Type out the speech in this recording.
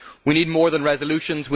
We need more than resolutions.